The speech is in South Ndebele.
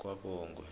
kwabongwe